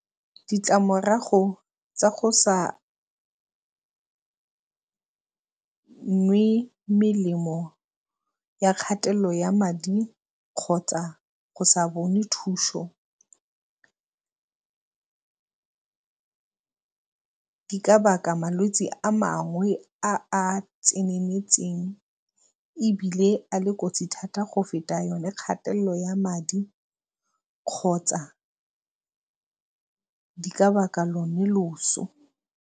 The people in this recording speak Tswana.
Ditlamorago tsa go sa nwe melemo ya kgatelelo ya madi kgotsa go sa bone thuso di ka baka malwetsi a mangwe a a tseneletseng ebile a le kotsi thata go feta yone kgatelelo ya madi kgotsa di ka baka lone loso.